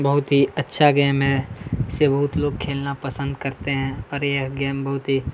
बहुत ही अच्छा गेम है इसे बहुत लोग खेलना पसंद करते हैं और यह गेम बहुत ही--